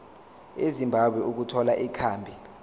ezimbabwe ukuthola ikhambi